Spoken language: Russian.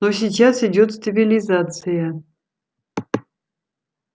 но сейчас идёт стабилизация